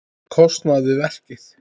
kostnað við verkið.